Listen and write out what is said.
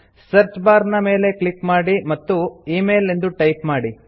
search bar ನ ಮೇಲೆ click ಮಾಡಿ ಮತ್ತು ಇಮೇಲ್ ಎಂದು ಟೈಪ್ ಮಾಡಿ